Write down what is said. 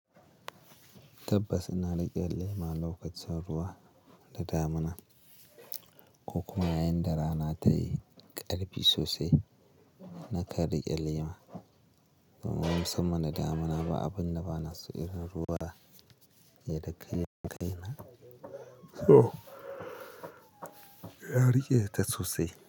Tabbas ina riƙe lema lokacin ruwa da damina ko kuma yayin da rana tayi ƙarfi sosai. Na kan rike lema domin musamman da damina ba abun da bana so irin ruwa ya dake kai na. So ya riƙe ta sosai.